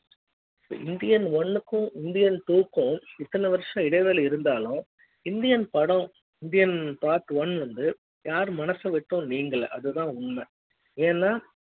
இந்தியன்ஒன்னுக்கு Indian two ம் இத்தன வருஷம் இடைவேளை இருந்தாலும் இந்தியன் படம் இந்தியன் part one வந்து யாரு மனசு விட்டும் நீங்கல அதுதான் உண்மை ஏன்னா